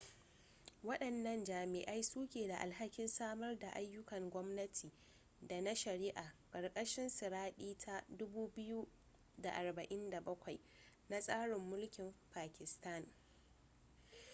wadannan jami'ai su ke da alhakin samar daayyukan gwamnati da na shari'a ƙarkashin siɗira ta 247 na tsarin mulkin pakistan